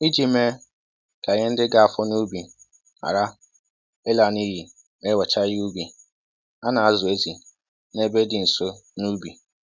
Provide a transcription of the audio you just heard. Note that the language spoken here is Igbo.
Iji mee ka ihe ndị ga-afọ n'ubi hara ịla n'iyi ma e wechaa ihe ubi, a na-azụ ezi n'ebe dị nso n'ubi